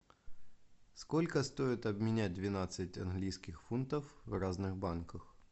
сколько стоит обменять двенадцать английских фунтов в разных банках